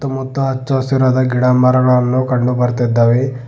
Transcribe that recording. ಮತ್ತು ಹಚ್ಚು ಹಸಿರಾದ ಗಿಡಮರಗಳನ್ನು ಕಂಡು ಬರ್ತಿದ್ದಾವೆ.